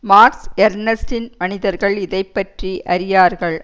marks எர்னஸ்ட்டின் மனிதர்கள் இதை பற்றி அறியார்கள்